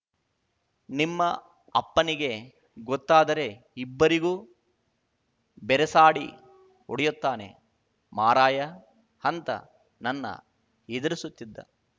ನಿಮ್ಮ ಅಪ್ಪನಿಗೆ ಗೊತ್ತಾದರೆ ಇಬ್ಬರಿಗೂ ಬೆರಸಾಡಿ ಹೊಡೆಯುತ್ತಾನೆ ಮಾರಾಯ ಅಂತ ನನ್ನ ಹೆದರಿಸುತ್ತಿದ್ದ